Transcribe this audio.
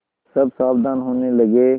सब सावधान होने लगे